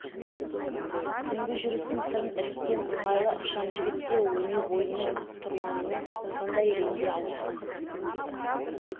түнгі жүрістің сырын іріккен ыңғайлы ықшам жігіт те өне бойымен ат-тұрманымен сондай реңге ауысқан